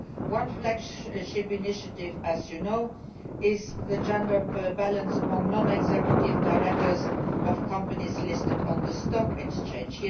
One flagship initiative, as you know, concerns the gender balance among non executive directors of companies listed on the stock exchange.